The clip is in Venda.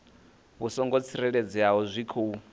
vhu songo tsireledzeaho zwi khou